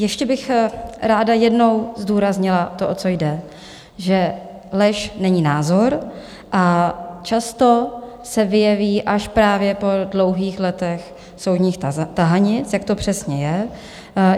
Ještě bych ráda jednou zdůraznila to, o co jde - že lež není názor a často se vyjeví až právě po dlouhých letech soudních tahanic, jak to přesně je.